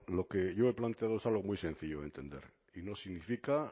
lo que yo he planteado es algo muy sencillo de entender y no significa